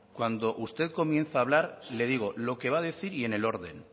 cuando usted comienza a hablar le digo lo que va a decir y en el orden